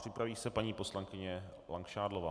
Připraví se paní poslankyně Langšádlová.